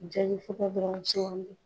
Jaabi fura don, an ka sɔ kɔnɔ